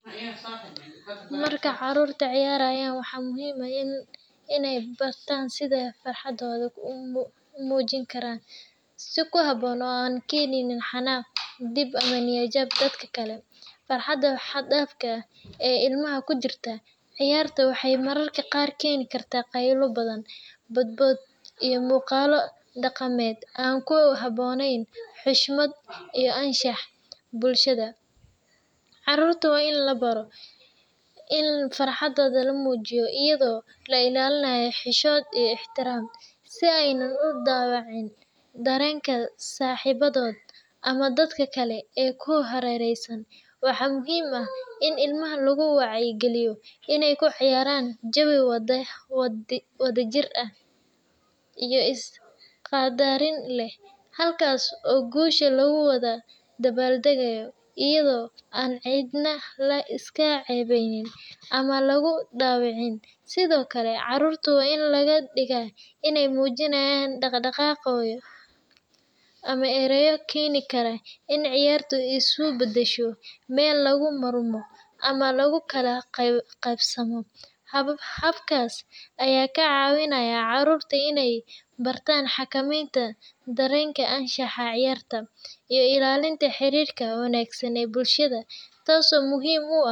Marka carruurtu ciyaarayaan, waxaa muhiim ah inay bartaan sida ay farxaddooda u muujin karaan si ku habboon oo aan keenin xanaaq, dhib, ama niyad-jab dadka kale. Farxadda xad-dhaafka ah ee ilmaha ku jirta ciyaarta waxay mararka qaar keeni kartaa qaylo badan, boodbood, iyo muuqaalo dhaqameed aan ku habboonayn xushmadda iyo anshaxa bulshada. Carruurta waa in la baro in farxadda la muujiyo iyadoo la ilaalinayo xishood iyo ixtiraam, si aanay u dhaawacin dareenka saaxiibadooda ama dadka kale ee ku hareeraysan. Waxaa muhiim ah in ilmaha lagu wacyigeliyo inay ku ciyaaraan jawi wadajir iyo isqaddarin leh, halkaas oo guusha lagu wada dabaaldego iyada oo aan cidna la iska ceebayn ama lagu dhaawacin. Sidoo kale, caruurta waa in laga digaa in ay muujiyaan dhaqdhaqaaqyo ama ereyo keeni kara in ciyaartu isu beddesho meel lagu murmo ama lagu kala qaybsamo. Habkaas ayaa ka caawinaya carruurta inay bartaan xakamaynta dareenka, anshaxa ciyaarta, iyo ilaalinta xiriirka wanaagsan ee bulshada, taas oo muhiim u ah.